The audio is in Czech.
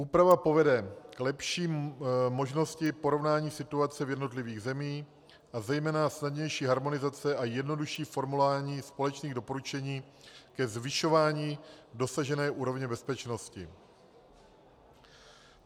Úprava povede k lepší možnosti porovnání situace v jednotlivých zemích a zejména snadnější harmonizace a jednodušší formování společných doporučení ke zvyšování dosažené úrovně bezpečnosti.